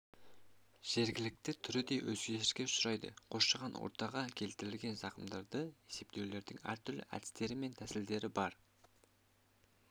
жергілікті түрі де өзгеріске ұшырайды қоршаған ортаға келтірілген зақымдарды есептеудің әртүрлі әдістері мен тәсілдері бар